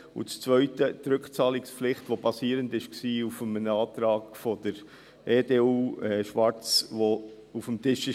– Und zweitens, die Rückzahlungspflicht, die auf einem Antrag der EDU, Schwarz, basierte, der auf dem Tisch war.